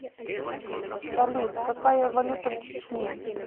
салют какая валюта в чечне